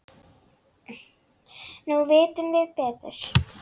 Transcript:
Nú vitum við betur.